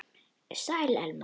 Sæl, Elma.